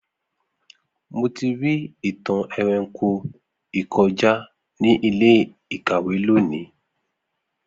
Mo ti ri itan eranko ikọja ni ile-ikawe loni.